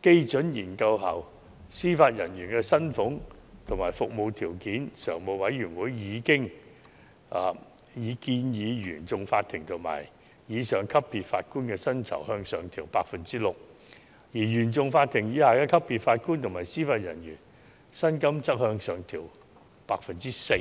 基準研究後，司法人員薪常會已建議，原訟法庭及以上級別法官的薪酬向上調整 6%， 而原訟法庭以下級別的法官及司法人員薪金則向上調整 4%。